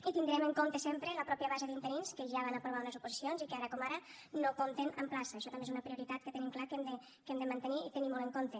i tindrem en compte sempre la mateixa base d’interins que ja van aprovar unes oposicions i que ara com ara no compten amb plaça això també és una prioritat que tenim clar que hem de mantenir i tenir molt en compte